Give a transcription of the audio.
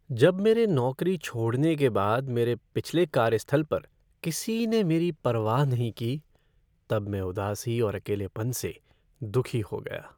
जब मेरे नौकरी छोड़ने के बाद मेरे पिछले कार्यस्थल पर किसी ने मेरी परवाह नहीं की तब मैं उदासी और अकेलेपन से दुखी हो गया।